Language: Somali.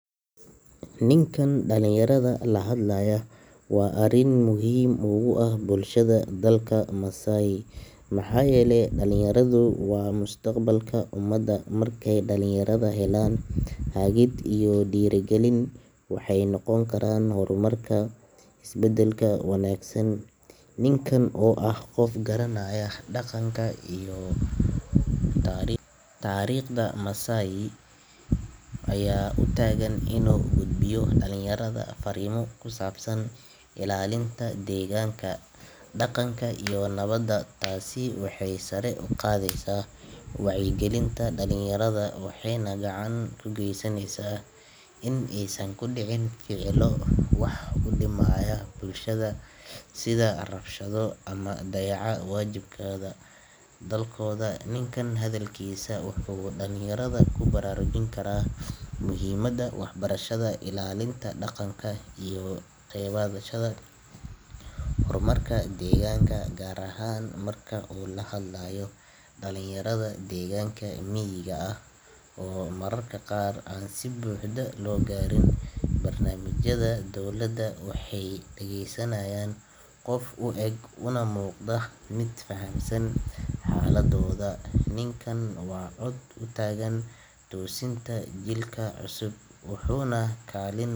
Ninkan dalinyarada lahadlaya waa arinmuhiim uah bulshada dalka Masaai mxaayele daliyaradu waa mustaqbalka umadu. Markey dalinyarada helaan haagid iyo diirigalin waxeynoqon karaan hormarka isbadalka wanaagsan. Ninkan oo ah qof garanaaya daqanka iyo taariqda Masaai ayaa utaagan in gudbiyo dalinyarada fariimo kusaabsan ilaalinta degaanka daqnka iyo nabada taasi waxey sari uqaadeysa wacyigalinta dalinyarada waxeyna gacan ugaysaneysa in eysan kudicin ficilo waxudimaaya bulshada sida rabshado ama dayaca waajibkada dalkooda. Ninkan hadalkiisa wuxu dalinyarada kubaraarujinkaraa muhiimada waxbarashada ilaalinta daqanka iyo kaqeybqadasha hormarka deeganka miiga ah oo mararka qaar an sibuuhda logaarin. Barnamijyada waxey dageysanayan qof ueg unamuqda midfahansan xaaladood. Ninkan waa cod utaagan doorsinta jilkacusub.